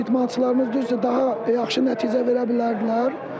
İdmançılarımız bizə daha yaxşı nəticə verə bilərdilər.